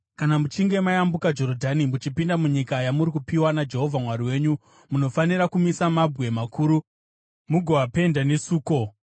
Kana muchinge mayambuka Jorodhani muchipinda munyika yamuri kupiwa naJehovha Mwari wenyu, munofanira kumisa mabwe makuru mugoapenda nesuko.